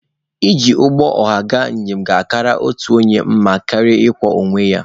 Iji ụgbọ ọha gaa njem ga-akara otu onye mma karịa ị kwọ onye ya.